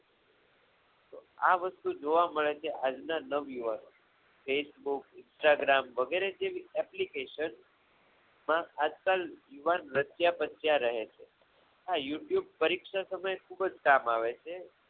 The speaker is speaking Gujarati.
આ વસ્તુ જોવા મળે છે આજના નવ યુવાનોમાં facebook instagram વગેરે જેવી application નો માં આજકાલ યુવાન રચ્યા પચ્યા રહે છે આ youtube પરીક્ષા સમયે ખૂબ જ કામ આવે છે